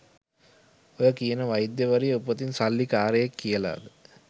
ඔය කියන වෛද්‍යවරිය උපතින් සල්ලි කාරයෙක් කියලද?